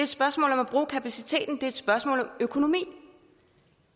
spørgsmål om at bruge kapaciteten er et spørgsmål om økonomi